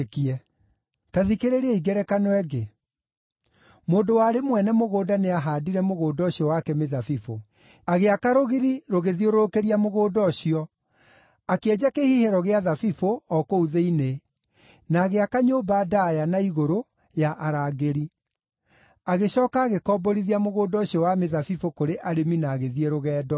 “Ta thikĩrĩriai ngerekano ĩngĩ: Mũndũ warĩ mwene mũgũnda nĩahaandire mũgũnda ũcio wake mĩthabibũ. Agĩaka rũgiri rũgĩthiũrũrũkĩria mũgũnda ũcio, akĩenja kĩhihĩro gĩa thabibũ o kũu thĩinĩ, na agĩaka nyũmba ndaaya na igũrũ ya arangĩri. Agĩcooka agĩkomborithia mũgũnda ũcio wa mĩthabibũ kũrĩ arĩmi na agĩthiĩ rũgendo.